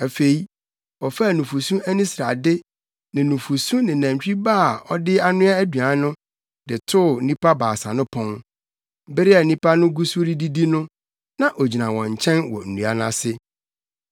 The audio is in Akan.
Afei, ɔfaa nufusu ani srade ne nufusu ne nantwi ba a ɔde anoa aduan no, de too nnipa baasa no pon. Bere a nnipa no gu so redidi no, na ogyina wɔn nkyɛn wɔ nnua no ase.